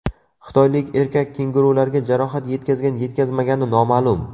Xitoylik erkak kengurularga jarohat yetkazgan-yetkazmagani noma’lum.